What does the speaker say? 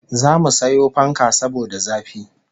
Zamu sayo fanka saboda zafi